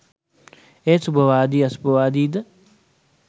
එය සුභවාදී අසුභවාදීද